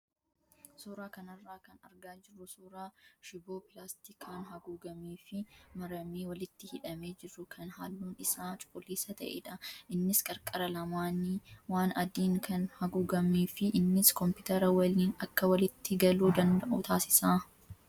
Suuraa kanarraa kan argaa jirru suuraa shiboo pilaastikaan haguugamee fi maramee walitti hidhamee jiru kan halluun isaa cuquliisa ta'edha. Innis qarqara lamaanni waan adiin kan haguugamee fi innis kompiitara waliin akka walitti galuu danda'u taasisa.